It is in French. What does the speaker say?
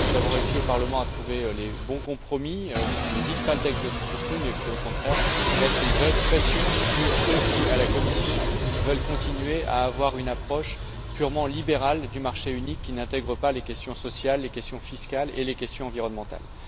Nous avons réussi, au Parlement, à trouver les bons compromis qui ne vident pas le texte de son contenu mais qui, au contraire, mettent une vraie pression sur ceux qui, à la Commission, veulent continuer à avoir une approche purement libérale du marché unique, qui n'intègre pas les questions sociales, les questions fiscales et les questions environnementales.